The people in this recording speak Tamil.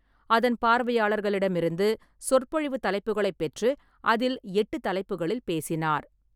அதன் பார்வையாளர்களிடமிருந்து சொற்பொழிவு தலைப்புகளைப் பெற்று அதில் எட்டுத் தலைப்புகளில் பேசினார்.